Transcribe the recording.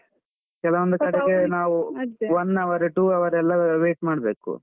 ಕೆಲವೊಂದು ಕಡೆಗೆ ನಾವು one hour two hour ಎಲ್ಲ wait ಮಾಡ್ಬೇಕು.